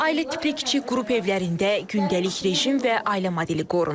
Ailə tipli kiçik qrup evlərində gündəlik rejim və ailə modeli qorunur.